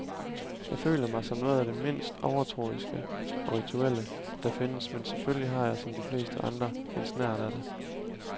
Jeg føler mig som noget af det mindst overtroiske og rituelle, der findes, men selvfølgelig har jeg som de fleste andre en snert af det.